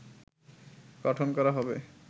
গঠন করা হবে